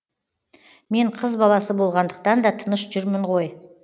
мен қыз баласы болғандықтан да тыныш жүрмін ғой